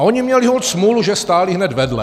A oni měli holt smůlu, že stáli hned vedle.